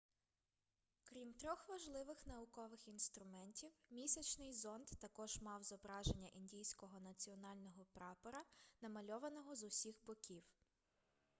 крім трьох важливих наукових інструментів місячний зонд також мав зображення індійського національного прапора намальованого з усіх боків